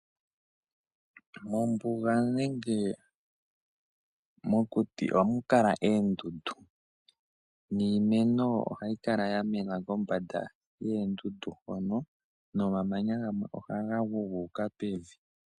Mombuga nenge mokuti ohamu kala eendundu niimeno ohayi kala yamena kombanda yeendundu hono nomamanya gamwe ohaga gu gu uka pevi.